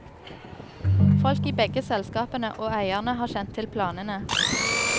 Folk i begge selskapene, og eierne, har kjent til planene.